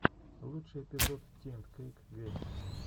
лучший эпизод ти энд кейк геймс